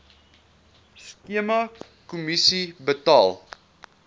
skema kommissie betaal